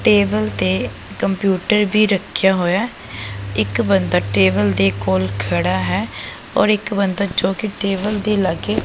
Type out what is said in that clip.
table ਤੇ computer ਵੀ ਰੱਖਿਆ ਹੋਇਆ ਹੈ ਇੱਕ ਬੰਦਾ ਟੇਬਲ ਦੇ ਕੋਲ ਖੜਾ ਹੈ ਔਰ ਇੱਕ ਬੰਦਾ ਜੋ ਕੀ ਟੇਬਲ ਦੇ ਲੱਗੇ --